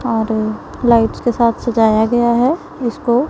और लाइट्स के साथ सजाया गया है इसको।